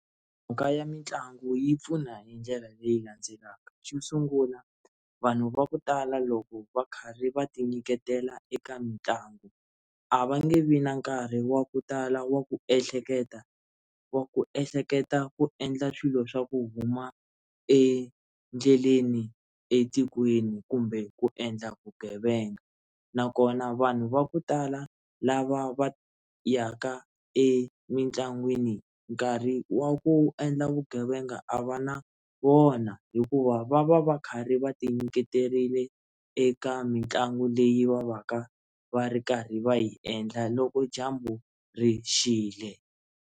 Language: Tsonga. Mhaka ya mitlangu yi pfuna hi ndlela leyi landzelaka xo sungula vanhu va ku tala loko va karhi va ti nyiketela eka mitlangu a va nge vi na nkarhi wa ku tala wa ku ehleketa wa ku ehleketa ku endla swilo swa ku huma endleleni etikweni kumbe ku endla vugevenga nakona vanhu va ku tala lava va ya ka emitlangwini nkarhi wa ku endla vugevenga a va na wona hikuva va va va karhi va ti nyiketerile eka mitlangu leyi va va ka va ri karhi va yi endla loko dyambu ri xile.